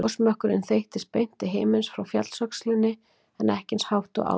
Gosmökkurinn þeyttist beint til himins frá fjallsöxlinni en ekki eins hátt og áður.